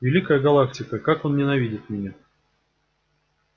великая галактика как он ненавидит меня